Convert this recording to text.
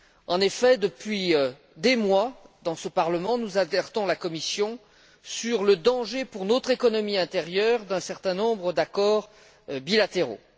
En effet, depuis des mois, dans ce Parlement, nous alertons la Commission sur le danger, pour notre économie intérieure, d'un certain nombre d'accords bilatéraux.